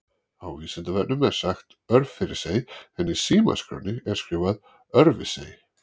Á Vísindavefnum er sagt Örfirisey en í símaskránni er skrifað Örfirsey.